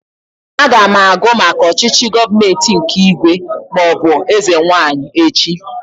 Aga m agụ maka ọchịchị gọọmenti nke ígwè maọbụ eze nwaanyị echi